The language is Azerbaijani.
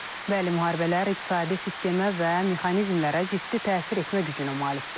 Bəli, müharibələr iqtisadi sistemə və mexanizmlərə ciddi təsir etmə gücünə malikdir.